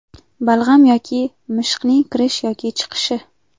Balg‘am yoki mishiqning kirish yoki chiqishi.